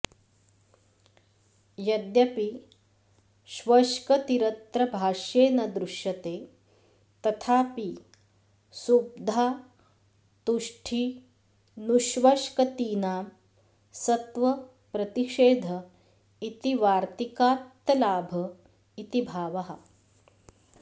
यद्यपि ष्वष्कतिरत्र भाष्ये न दृश्यते तथापि सुब्धातुष्ठिनुष्वष्कतीनां सत्वप्रतिषेध इति वार्तिकात्तल्लाभ इति भावः